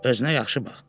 Özünə yaxşı bax.